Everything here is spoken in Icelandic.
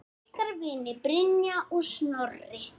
Ykkar vinir, Brynja og Snorri.